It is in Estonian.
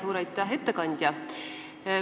Suur aitäh, ettekandja!